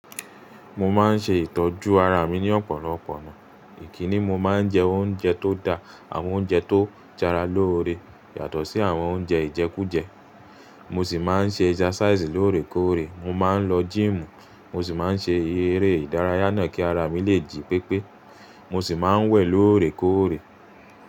Mo máa ń ṣe ìtọ́jú ara mi ní ọ̀pọ̀lọpọ̀ ọ̀nà. Kíni, mo máa ń jẹ oúnjẹ tó dá. Àwọn oúnjẹ tó ń s'ara lóore, yàtọ̀ sí àwọn oúnjẹ ìjẹkújẹ. Mo sì máa ń ṣe exercise lóòrèkóòrè. Mo máa ń lọ gym, mo sì máa ń ṣe eré ìdárayá náà kí ara mi lè jí pépé. Mo sì máa ń wẹ̀ lóòrèkóòrè.